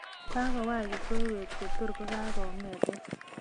Kagowaach kipsoywet kotogagongetech